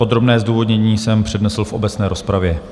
Podrobné zdůvodnění jsem přednesl v obecné rozpravě.